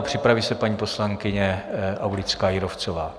A připraví se paní poslankyně Aulická Jírovcová.